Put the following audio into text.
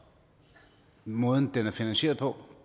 måden den er finansieret på